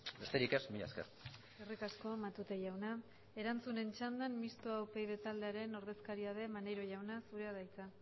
besterik ez mila esker eskerrik asko matute jauna erantzunen txandan mistoa upyd taldearen ordezkaria den maneiro jauna zurea da hitza